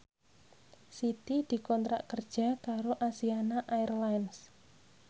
Siti dikontrak kerja karo Asiana Airlines